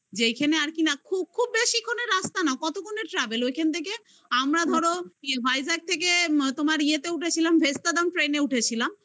যেইখানে আর কি না খুব বেশিক্ষণের রাস্তা না কতক্ষণে travel ওইখান থেকে আমরা ধর তোমার vijack থেকে এতে উঠেছিলাম ভেস্তাদ্রাম train -এ উঠেছিলাম